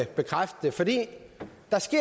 bekræfte det